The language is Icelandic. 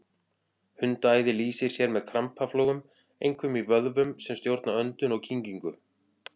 Hundaæði lýsir sér með krampaflogum, einkum í vöðvum sem stjórna öndun og kyngingu.